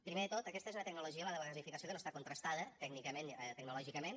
primer de tot aquesta és una tecnologia la de la gasificació que no està contrastada tecnològicament